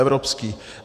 Evropský.